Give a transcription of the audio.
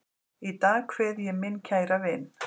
Í dag kveð ég minn kæra vin.